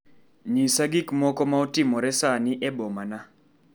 Nyisa gik moko ma otimore sani e boma na.